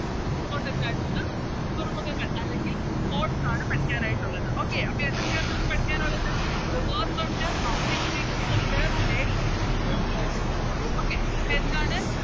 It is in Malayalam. Importants ആയിട്ടുള്ള തുറമുഖങ്ങൾ അല്ലെങ്കിൽ Ports ആണ് പഠിക്കാനായിട്ടുള്ളത് Okay അപ്പൊ ഏതൊക്കെയാ നമുക്ക് പഠിക്കാനുള്ളത് Rivers ഉണ്ട് Mountain ഒണ്ട് Play ഒണ്ട് Ports അപ്പൊ എന്താണ്